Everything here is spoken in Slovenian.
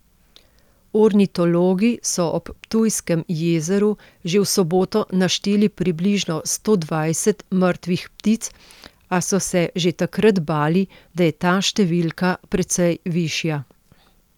Ornitologi so ob Ptujskem jezeru že v soboto našteli približno sto dvajset mrtvih ptic, a so se že takrat bali, da je ta številka precej višja.